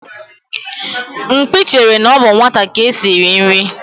Mkpi chere na ọ bụ nwata ka esi eri nri.